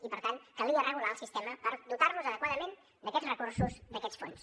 i per tant calia regular el sistema per dotar los adequadament d’aquests recursos d’aquests fons